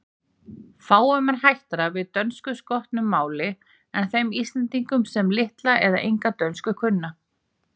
Fáum er hættara við dönskuskotnu máli en þeim Íslendingum, sem litla eða enga dönsku kunna.